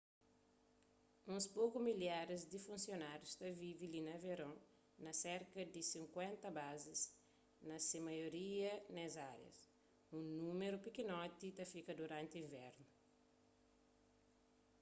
uns poku milharis di funsionárius ta vive li na veron na serka di sinkuénta bazis na se maioria nes árias un númeru pikinoti ta fika duranti invernu